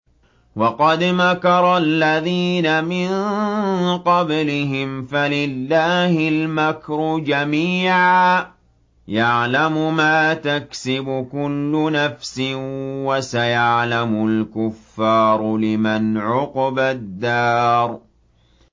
وَقَدْ مَكَرَ الَّذِينَ مِن قَبْلِهِمْ فَلِلَّهِ الْمَكْرُ جَمِيعًا ۖ يَعْلَمُ مَا تَكْسِبُ كُلُّ نَفْسٍ ۗ وَسَيَعْلَمُ الْكُفَّارُ لِمَنْ عُقْبَى الدَّارِ